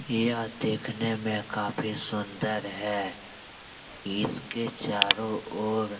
यह देखने मे काफी सुन्दर है इसके चारों ओर --